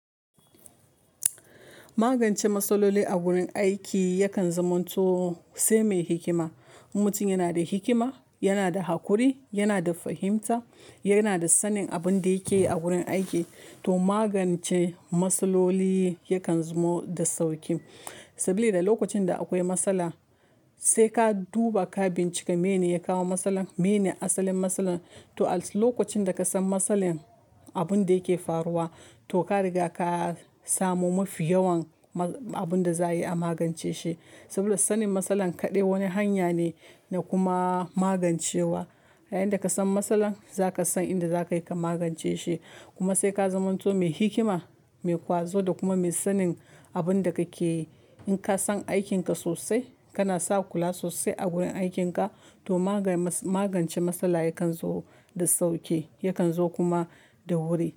Magance matsaloli a wurin aiki yakan zamanto sai mai hikima. Mutum yana da hikima, yana da haƙuri, yana da fahimta, yana da sanin abin da yake a wurin aiki to magance matsaloli yakan zamo da sauƙi. Sabila lokacin da akwai matsala sai ka duba ka bincika mene ya kawo matsalar, mene asalin matsalar to a lokacin da ka san matsalar abin da yake faruwa to ka riga ka samu mafi yawan abin da za a yi a magance shi. Saboda sanin matsalar kaɗai wani hanya ne na kuma magancewa. Yayinda ka san matsalar za ka san inda za ka yi ka magance shi. Kuma sai ka zamanto mai hikima, mai ƙwazo da kuma mai sanin abin da kake yi. In ka san aikinka sosai, kana saƙula sosai a gurin aikinka to magance matsala yakan zo da sauƙi, yakan zo kuma da wuri.